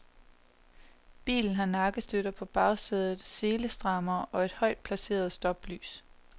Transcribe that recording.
Bilen har nakkestøtter på bagsædet, selestrammere og højt placeret stoplys.